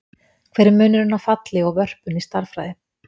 Hver er munurinn á falli og vörpun í stærðfræði?